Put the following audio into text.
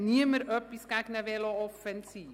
Niemand hat etwas gegen eine Velo-Offensive.